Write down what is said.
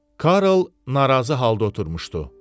Kral narazı halda oturmuşdu.